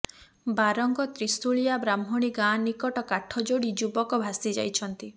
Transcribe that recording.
ବାରଙ୍ଗ ତ୍ରୀଶୁଳିଆ ବ୍ରାହ୍ମଣୀ ଗାଁ ନିକଟ କାଠଯୋଡି ଯୁବକ ଭାସି ଯାଇଛନ୍ତି